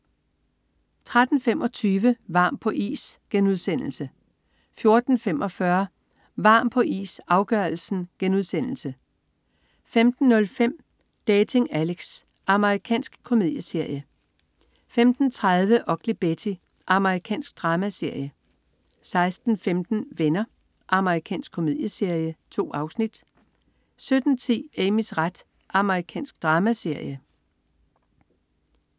13.25 Varm på is* 14.45 Varm på is, afgørelsen* 15.05 Dating Alex. Amerikansk komedieserie 15.30 Ugly Betty. Amerikansk dramaserie 16.15 Venner. Amerikansk komedieserie. 2 afsnit 17.10 Amys ret. Amerikansk dramaserie